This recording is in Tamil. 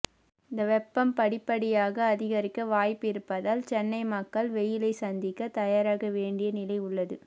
இந்த வெப்பம் படிப்படியாக அதிகரிக்க வாய்ப்பு இருப்பதால் சென்னை மக்கள் வெயிலை சந்திக்க தயாராக வேண்டிய நிலை உள்ளது